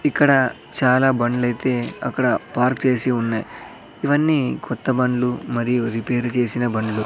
ఇక్కడ చాలా బండ్లయితే అక్కడ పార్క్ చేసి ఉన్నాయ్ ఇవన్నీ కొత్త బండ్లు మరియు రిపేరు చేసిన బండ్లు--